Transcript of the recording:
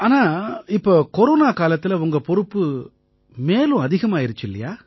ஆனா இப்ப கொரோனா காலத்தில உங்க பொறுப்பு மேலும் அதிகமாயிருச்சு இல்லை